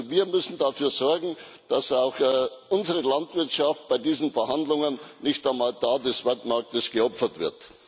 Also Wir müssen dafür sorgen, dass auch unsere Landwirtschaft bei diesen Verhandlungen nicht auf dem Altar des Weltmarktes geopfert wird.